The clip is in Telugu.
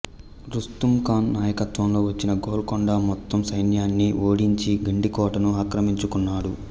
రుస్తుమ్ ఖాన్ నాయకత్వంలో వచ్చిన గోల్కొండ మొత్తం సైన్యాన్ని ఓడించి గండికోటను ఆక్రమించుకున్నాడు